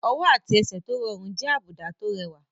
Ọwọ́ àti ẹsẹ̀ tó rọrùn jẹ́ àwọn àbùdá tó rẹwà.